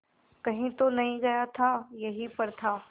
कहीं तो नहीं गया था यहीं पर था